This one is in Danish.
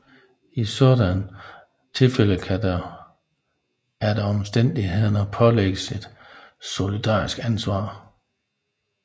I sådanne tilfælde kan der efter omstændighederne pålægges et solidarisk ansvar